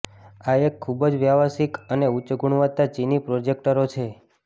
આ એક ખૂબ જ વ્યાવસાયિક અને ઉચ્ચ ગુણવત્તા ચિની પ્રોજેક્ટરો છે